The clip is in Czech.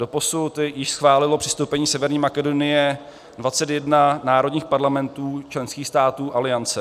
Doposud již schválilo přistoupení Severní Makedonie 21 národních parlamentů členských států Aliance.